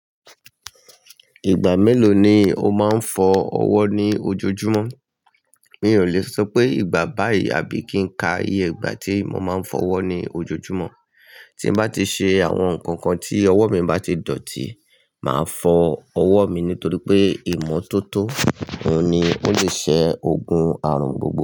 Ìgbà mélòó ni o máa ń fọ ọwọ́ ní ojoojúmọ́? Mi ò lè sọ pé ìgbà báyìí àbí kí n ka iye ìgbà tí mo máa ń fọ ọwọ́ ní ojoojúmọ́. Tí n bá ti ṣe àwọn nǹkan kan tí ọwọ́ mi bá ti dọ̀tí, màá fọ ọwọ́ mi nítorí pé ìmọ́tótó òhun ni ó lè ṣẹ́ ogun àrùn gbogbo.